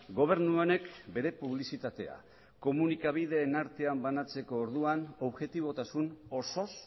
gobernu honek bere publizitatea komunikabideen artean banatzeko orduan objetibotasun osoz